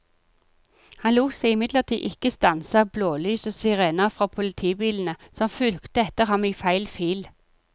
Han lot seg imidlertid ikke stanse av blålys og sirener fra politibilene som fulgte etter ham i feil fil.